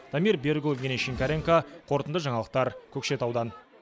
дамир берікұлы евгений шинкаренко қорытынды жаңалықтар көкшетаудан